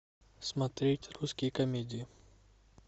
смотреть русские комедии